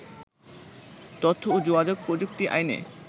তথ্য ও যোগাযোগ প্রযুক্তি আইনে